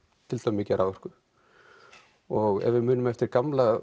mikið af raforku og ef við munum eftir gamla